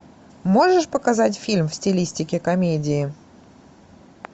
можешь показать фильм в стилистике комедии